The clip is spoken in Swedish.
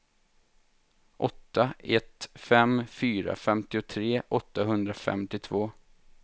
åtta ett fem fyra femtiotre åttahundrafemtiotvå